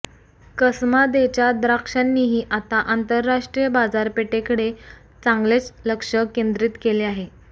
कसमादेच्या द्राक्षांनीही आता आंतरराष्ट्रीय बाजारपेठेकडे चांगलेच लक्ष केंद्रीत केले आहे